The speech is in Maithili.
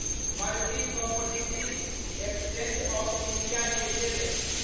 multi Commodity Exchange of India limited